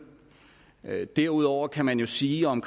elleve derudover kan man jo sige om